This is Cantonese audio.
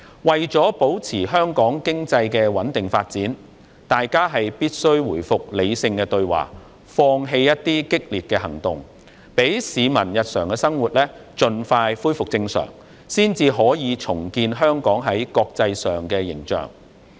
為了保持香港經濟穩定發展，大家必須回復理性對話，放棄激烈的行動，讓市民日常的生活盡快恢復正常，才可以重建香港在國際上的形象。